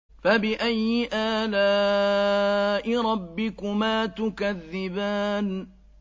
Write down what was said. فَبِأَيِّ آلَاءِ رَبِّكُمَا تُكَذِّبَانِ